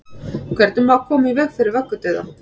hvernig má koma í veg fyrir vöggudauða